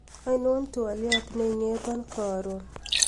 ainon twolyot neing'eton korun